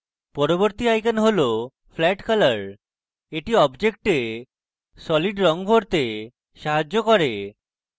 পরবর্তী icon হল flat color the object solid রঙ ভরতে সাহায্য করে